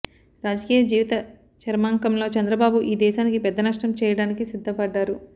రాజకీయ జీవిత చరమాంకంలో చంద్రబాబు ఈ దేశానికీ పెద్ద నష్టం చెయ్యడానికి సిద్ధపడ్డారు